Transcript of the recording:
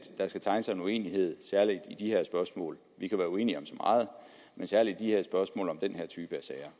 der skal tegne sig en uenighed særlig i de her spørgsmål vi kan være uenige om så meget men særlig i de her spørgsmål om den her type sager